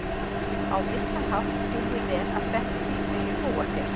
Á vissan hátt skil ég vel að Bettý vilji búa hér.